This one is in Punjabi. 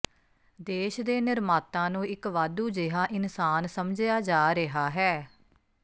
ਦੇਸ਼ ਦੇ ਨਿਰਮਾਤਾ ਨੂੰ ਇੱਕ ਵਾਧੂ ਜਿਹਾ ਇਨਸਾਨ ਸਮਝਿਆ ਜਾ ਰਿਹਾ ਹੈ